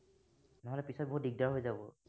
নহলে পিছত বহুত দিগদাৰ হৈ যাব।